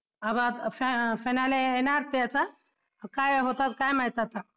finale येणार ते आता काय होतं काय माहित आता